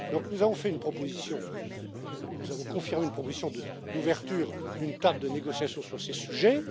Donc, nous avons fait une proposition et nous avons confirmé cette proposition d'ouverture d'une table de négociation sur ces sujets.